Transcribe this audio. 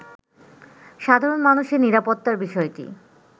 সাধারণ মানুষের নিরাপত্তার বিষয়টি